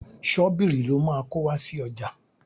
Ṣọ́bìrì lo máa kó wá sí ọjà.